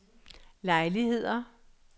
lejligheder